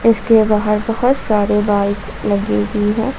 इसके बाहर बहोत सारे बाइक लगी हुई है।